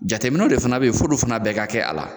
Jateminɛw de fana bɛ yen, f'olu fana bɛɛ ka kɛ a la.